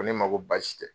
Ko ne ma ko baasi tɛ